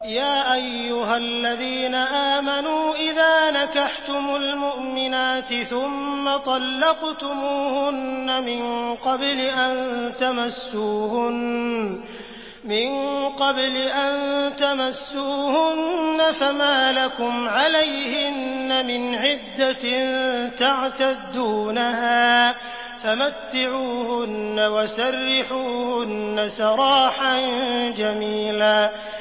يَا أَيُّهَا الَّذِينَ آمَنُوا إِذَا نَكَحْتُمُ الْمُؤْمِنَاتِ ثُمَّ طَلَّقْتُمُوهُنَّ مِن قَبْلِ أَن تَمَسُّوهُنَّ فَمَا لَكُمْ عَلَيْهِنَّ مِنْ عِدَّةٍ تَعْتَدُّونَهَا ۖ فَمَتِّعُوهُنَّ وَسَرِّحُوهُنَّ سَرَاحًا جَمِيلًا